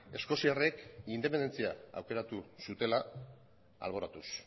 eskoziarrek independentzia aukeratu zutela alboratuz